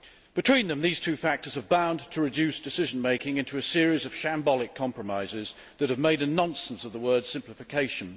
Between them, these two factors are bound to reduce decision making to a series of shambolic compromises that make a nonsense of the word simplification'.